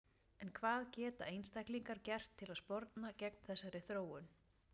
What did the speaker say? En hvað geta einstaklingar gert til að sporna gegn þessari þróun?